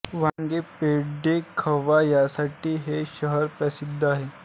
वांगी पेढे खवा यांसाठी हे शहर प्रसिद्ध आहे